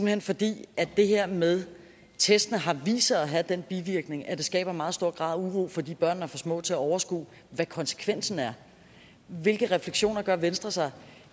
hen fordi det her med testen har vist sig at have den bivirkning at det skaber en meget stor grad af uro fordi børnene er for små til at overskue hvad konsekvensen er hvilke refleksioner gør venstre sig